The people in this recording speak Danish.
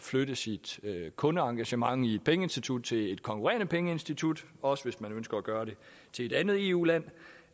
flytte sit kundeengagement i et pengeinstitut til et konkurrerende pengeinstitut også hvis man ønsker at gøre det til et andet eu land